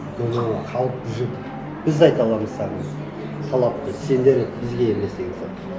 өйткені халық бұл жерде біз де айта аламыз саған талапты сендер бізге емес деген сияқты